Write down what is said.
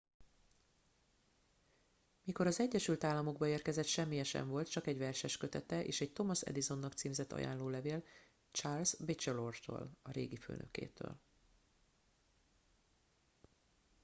mikor az egyesült államokba érkezett semmije sem volt csak egy verseskötete és egy thomas edisonnak címzett ajánlólevél charles batchelortól a régi főnökétől